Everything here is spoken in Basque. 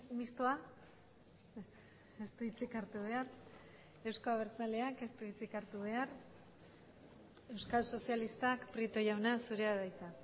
mistoa ez du hitzik hartu behar euzko abertzaleak ez du hitzik hartu behar euskal sozialistak prieto jauna zurea da hitza